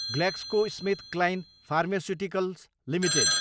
GlaxoSmithKline pharmaceuticals Ltd